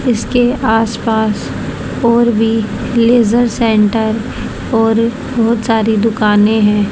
इसके आस पास और भी लेजर सेन्टर और बहुत सारी दुकानें हैं।